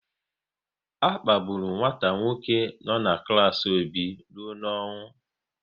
A kpagburu nwata nwoke no n'klas Obi rụọ n'ọnwụ